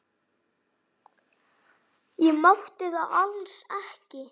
Ég mátti það alls ekki.